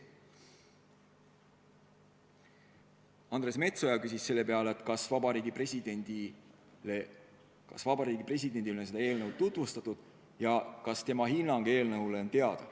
Andres Metsoja küsis selle peale, kas Vabariigi Presidendile on seda eelnõu tutvustatud ja kas presidendi hinnang eelnõu kohta on teada.